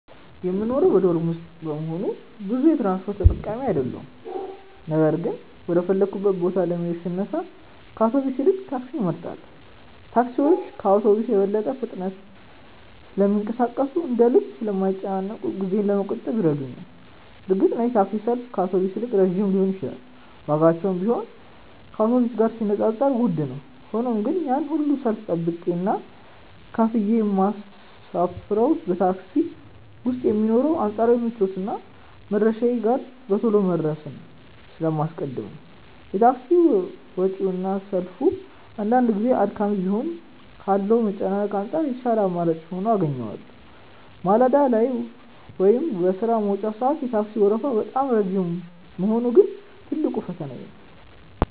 የምኖረው በዶርም ውስጥ በመሆኑ ብዙ የትራንስፖርት ተጠቃሚ አይደለሁም ነገር ግን ወደ ፈለግኩበት ቦታ ለመሄድ ስነሳ ከአውቶቡስ ይልቅ ታክሲን እመርጣለሁ። ታክሲዎች ከአውቶቡስ በበለጠ ፍጥነት ስለሚንቀሳቀሱና እንደ ልብ ስለማይጨናነቁ ጊዜዬን ለመቆጠብ ይረዱኛል። እርግጥ ነው የታክሲ ሰልፍ ከአውቶቡስ ይልቅ ረጅም ሊሆን ይችላል ዋጋቸውም ቢሆን ከአውቶቡስ ጋር ሲነጻጸር ውድ ነው። ሆኖም ግን ያንን ሁሉ ሰልፍ ጠብቄና ከፍዬ የምሳፈረው በታክሲ ውስጥ የሚኖረውን አንጻራዊ ምቾትና መድረሻዬ ጋር በቶሎ መድረስን ስለማስቀድም ነው። የታክሲ ወጪውና ሰልፉ አንዳንድ ጊዜ አድካሚ ቢሆንም ካለው መጨናነቅ አንጻር የተሻለ አማራጭ ሆኖ አገኘዋለሁ። ማለዳ ላይ ወይም በሥራ መውጫ ሰዓት የታክሲው ወረፋ በጣም ረጅም መሆኑ ግን ትልቁ ፈተናዬ ነው።